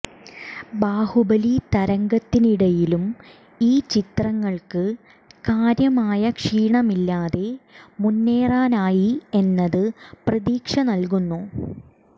ബാഹുബലി തരംഗത്തിനിടയിലും ഈ ചിത്രങ്ങള്ക്ക് കാര്യമായ ക്ഷീണമില്ലാതെ മുന്നേറാനായി എന്നത് പ്രതീക്ഷ നല്കുന്നു